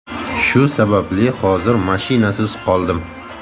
Shu sababli hozir mashinasiz qoldim.